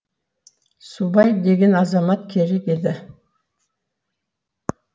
субай деген азамат керек еді